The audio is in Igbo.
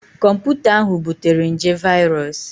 Kọmputa ahụ butere nje viros